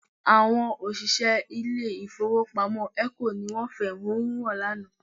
Àwọn òṣìṣẹ́ ilé ìfowópamọ́ ECO ni wọ́n fẹ̀hónú hàn ní àná